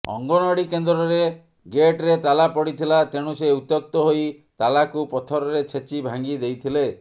ଅଙ୍ଗନବାଡ଼ି କେନ୍ଦ୍ରରେ ଗେଟ୍ରେ ତାଲା ପଡିଥିଲା ତେଣୁ ସେ ଉତ୍ୟକ୍ତ ହୋଇ ତାଲାକୁ ପଥରରେ ଛେଚି ଭାଙ୍ଗି ଦେଇଥିଲେ